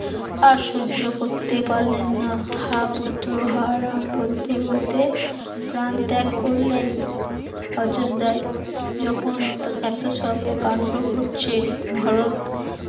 আর সহ্য করতে পারলেন না, হা পুত্র হা রাম বলতে বলতে প্রাণ ত্যাগ করলেন, অযোধ্যায় যখন এত এত সব কান্ড হচ্ছে ভারত